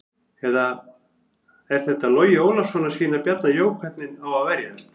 Er þetta Logi Ólafsson að sýna Bjarna Jó hvernig á að verjast?